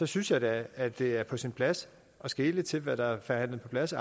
synes jeg da at det er på sin plads at skele til hvad der er forhandlet på plads